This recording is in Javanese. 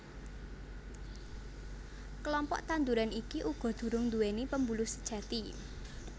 Klompok tanduran iki uga durung nduwèni pembuluh sejati